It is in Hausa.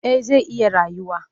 Eh zai iya rayuwa